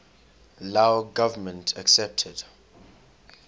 lao government accepted